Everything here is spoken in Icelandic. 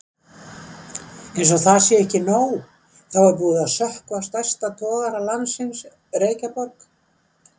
Einsog það sé ekki nóg, þá er búið að sökkva stærsta togara landsins, Reykjaborg.